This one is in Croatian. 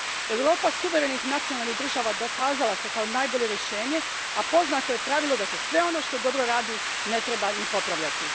Europa suverenih nacionalnih država dokazala se kao najbolje rješenje, a poznato je pravilo da se sve ono što dobro radi ne treba ni popravljati.